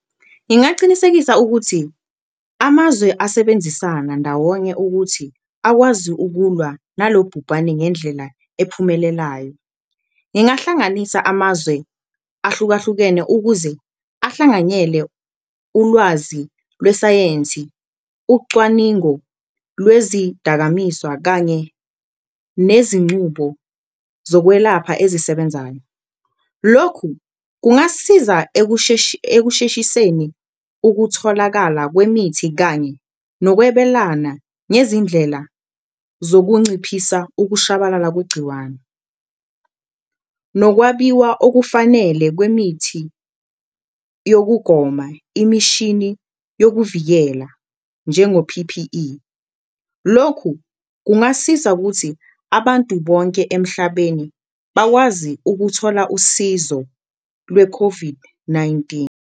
Ngingacinisekisa ukuthi amazwe asebenzisana ndawonye ukuthi akwazi ukulwa nalo bhubhane ngendlela ephumelelayo, ngingahlanganisa amazwe ahlukahlukene ukuze ahlanganyele ulwazi lwesayensi, ucwaningo lwezidakamizwa kanye nezincubo zokwelapha ezisebenzayo. Lokhu kungasisiza ekusheshiseni ukutholakala kwemithi kanye nokwebelana ngezindlela zokunciphisa ukushabalala kwegciwane, nokwabiwa okufanele kwemithi yokugoma, imishini yokuvikela njengo-P_P_E. Lokhu kungasiza kuthi abantu bonke emhlabeni bakwazi ukuthola usizo lwe-COVID-19.